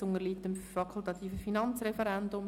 Dieses unterliegt dem fakultativen Finanzreferendum.